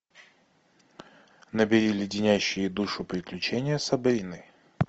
набери леденящие душу приключения сабрины